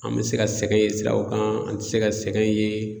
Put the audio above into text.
An bɛ se ka sɛgɛn ye siraw kan, an tɛ se ka sɛgɛn ye.